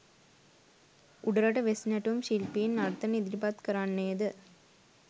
උඩරට වෙස් නැටුම් ශිල්පීන් නර්තන ඉදිරිපත් කරන්නේ ද